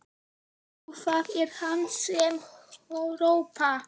Jú, það er hann sem hrópar.